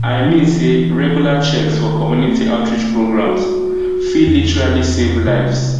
i mean say regular checks for community outreach programs fit literally save lives